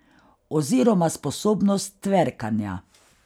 Oziroma sposobnost tverkanja ...